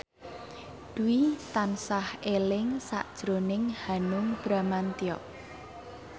Dwi tansah eling sakjroning Hanung Bramantyo